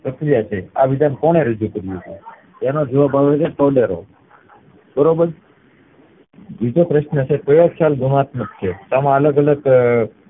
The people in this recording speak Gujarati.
છે આ વિધાન કોને રજુ કર્યું તું? એનો જવાબ આવે છે બરોબર બીજો પ્રશ્ન છે ગુણાત્મક છે તેમાં અલગ અલગ અ